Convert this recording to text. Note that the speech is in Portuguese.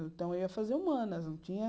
Então, eu ia fazer humanas não tinha.